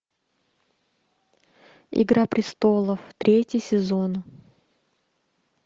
игра престолов третий сезон